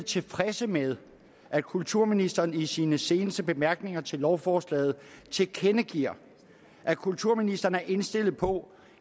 tilfredse med at kulturministeren i sine seneste bemærkninger til lovforslaget tilkendegiver at kulturministeren er indstillet på